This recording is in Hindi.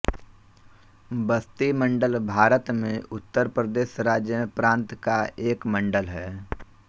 बस्ती मंडल भारत में उत्तर प्रदेश राज्यमें प्रान्त का एक मंडल है